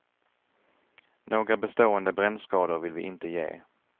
Några bestående brännskador vill vi inte ge.